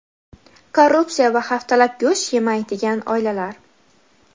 korrupsiya va haftalab go‘sht yemaydigan oilalar.